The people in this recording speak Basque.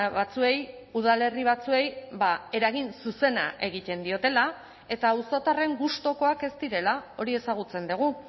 batzuei udalerri batzuei eragin zuzena egiten diotela eta auzotarren gustukoak ez direla hori ezagutzen dugu